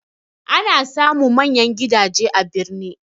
Ana samun manyan gidaje a birni